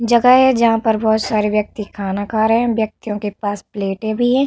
जगह है जहाँ पर बहोत सारे व्यक्ति खाना खा रहे है। व्यक्तिओं के पास प्लेटे भी है।